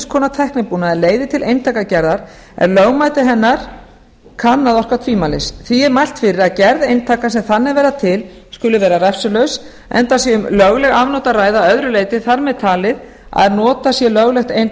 konar tæknibúnaðar leiðir til eintakagerðar en lögmæti hennar kann að orka tvímælis því er mælt fyrir að gerð eintaka sem þannig verða til skuli vera refsilaus enda sé um lögleg afnot að ræða að öðru leyti þar með talið að notað sé löglegt